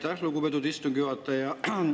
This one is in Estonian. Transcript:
Aitäh, lugupeetud istungi juhataja!